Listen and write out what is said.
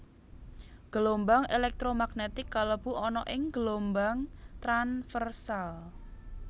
Gelombang elektro magnetik kalebu ana ing gelombang tranversal